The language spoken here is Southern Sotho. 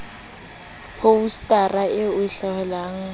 phousetara e e hohelang e